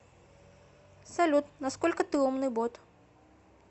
салют насколько ты умный бот